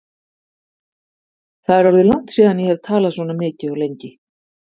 Það er orðið langt síðan ég hef talað svona mikið og lengi.